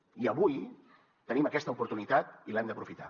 i avui tenim aquesta oportunitat i l’hem d’aprofitar